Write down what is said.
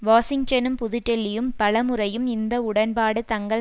வாஷிங்டனும் புது டெல்லியும் பலமுறையும் இந்த உடன்பாடு தங்கள்